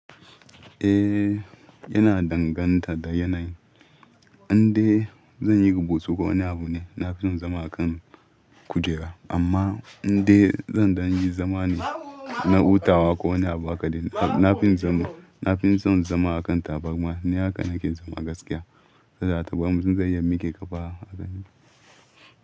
Eh yana danganta da yanayin. Inda zan yi gbusu ga wani abu ne na fi son zama a kan kujera amma inda zan yi zama ne na hutawa ko wani abu akaɗi, na fi son zama a kan tabarma. Ni haka na ke zama a gaskiya, sata ta bari mun zan iya miki ƙafa a gani.